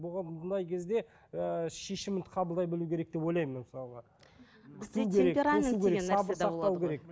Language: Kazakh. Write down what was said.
бұған мұндай кезде ы шешімін қабылдай білу керек деп ойлаймын мен мысалға